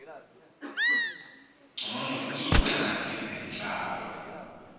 ngcono iingxaki zentlalo